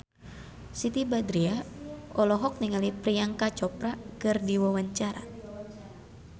Siti Badriah olohok ningali Priyanka Chopra keur diwawancara